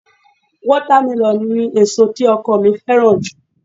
Wátámẹlọ̀ ni èso tí ọkọ mi fẹ́ràn jù